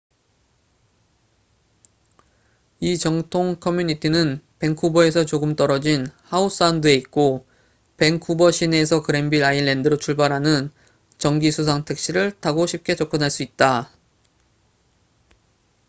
이 정통 커뮤니티는 밴쿠버에서 조금 떨어진 하우 사운드에 있고 밴쿠버 시내에서 그랜빌 아일랜드로 출발하는 정기 수상 택시를 타고 쉽게 접근할 수 있다